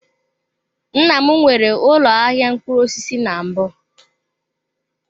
Nna m nwere ụlọ ahịa mkpụrụ osisi na mbụ.